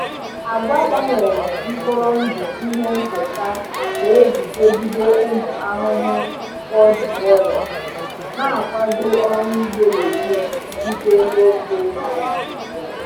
Agwa gbanwere mkpụrụ ndụ ihe nketa na-eguzogide ụmụ ahụhụ pod borer, na-akwado ọrụ ugbo legume dịgide n’ofe Naijiria.